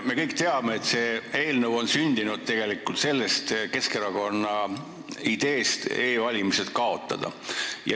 Me kõik teame, et see eelnõu on sündinud tegelikult Keskerakonna ideest e-valimine kaotada.